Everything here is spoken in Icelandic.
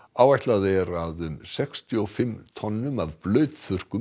áætlað er að um sextíu og fimm tonn af